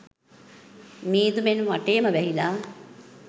මීදුමෙන් වටේම වැහිලා.